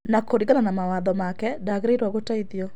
Na kũringana na mawatho make ndaagĩrĩirwo gũteithio.